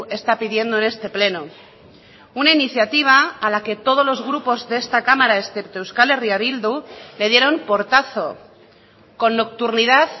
está pidiendo en este pleno una iniciativa a la que todos los grupos de esta cámara excepto euskal herria bildu le dieron portazo con nocturnidad